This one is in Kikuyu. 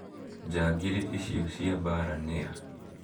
Njangiri icio cia mbaara nĩ a?